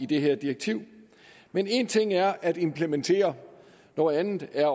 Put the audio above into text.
det her direktiv men en ting er at implementere noget andet er